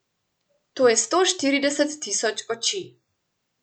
To je sto štirideset tisoč oči.